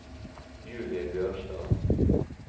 Julie Bjørnstad